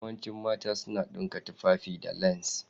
Yawancin mata su dinka tufafi da lacen.